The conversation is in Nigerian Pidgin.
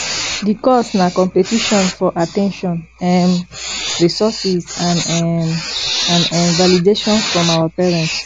di cause na competition for at ten tion um resources and um and um validation from our parents